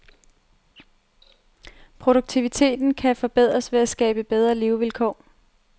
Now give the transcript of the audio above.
Produktiviteten kan forbedres ved at skabe bedre levevilkår.